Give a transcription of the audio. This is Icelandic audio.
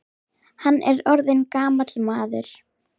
Hann er orðinn gamall maður.